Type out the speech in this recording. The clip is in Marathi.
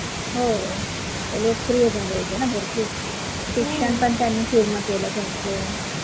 हो लोकप्रिय झाले होते ना भरपुर शिक्षण पण त्यांनी पूर्ण केलं त्यांचं